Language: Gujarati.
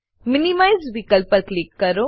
મિનિમાઇઝ મીનીમાઈઝ વિકલ્પ પર ક્લિક કરો